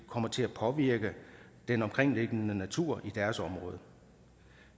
kommer til at påvirke den omkringliggende natur i deres område